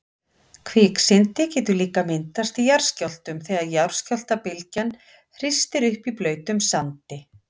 Kviksyndi getur líka myndast í jarðskjálftum þegar skjálftabylgjan hristir upp í blautum sandi.